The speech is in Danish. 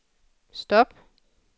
stop